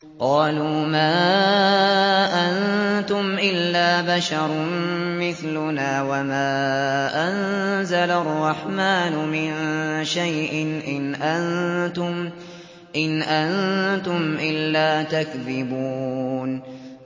قَالُوا مَا أَنتُمْ إِلَّا بَشَرٌ مِّثْلُنَا وَمَا أَنزَلَ الرَّحْمَٰنُ مِن شَيْءٍ إِنْ أَنتُمْ إِلَّا تَكْذِبُونَ